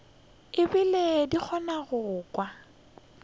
ebile di kgona go kwa